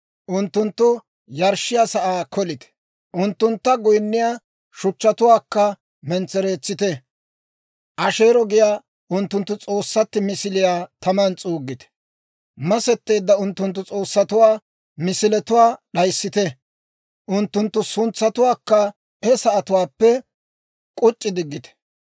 Unttunttu yarshshiyaa sa'aa kolite; unttunttu goyinniyaa shuchchatuwaakka mentsereetsite; Asheero giyaa unttunttu s'oossatti misiliyaa taman s'uuggite; masetteedda unttunttu s'oossatuwaa misiletuwaa d'ayissite; unttunttu suntsatuwaakka he sa'atuwaappe k'uc'c'i diggite.